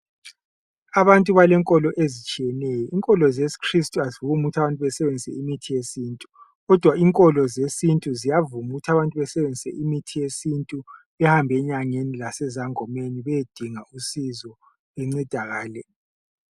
Abantu balenkolo ezitshiyeneyo. Inkolo zesi Kristu azivumi ukuthi abantu besebenzise imithi yesintu. Kodwa inkolo zesintu ziyavuma ukuthi abantu basebenzise imithi yesintu bahambe enyangeni lasezangomeni besiyadinga usizo bencedakale